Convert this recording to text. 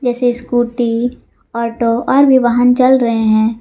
से scooty auto और भी वाहन चल रहे हैं।